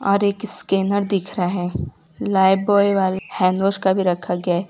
और एक स्कैनर दिख रहा है लाइब्वॉय वाला हैंडवाश का भी रखा गया है।